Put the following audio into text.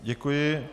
Děkuji.